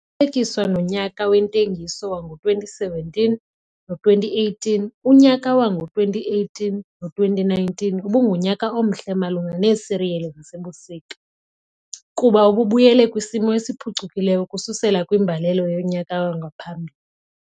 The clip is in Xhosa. kuthelekiswa nonyaka wentengiso wango-2017 no2018, unyaka wango-2018 no2019 ubungunyaka omhle malunga neesiriyeli zasebusika, kuba ububuyele kwisimo esiphucukileyo ukususela kwimbalela yonyaka wangaphambili.